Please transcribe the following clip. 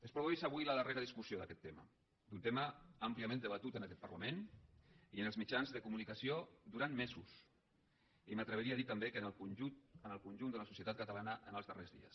es produeix avui la darrera discussió d’aquest tema d’un tema àmpliament debatut en aquest parlament i en els mitjans de comunicació durant mesos i m’atreviria a dir també que en el conjunt de la societat catalana en els darrers dies